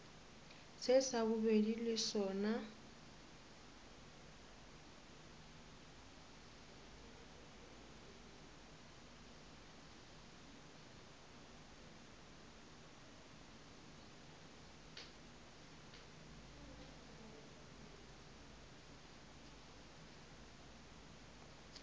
se sa bobedi le sona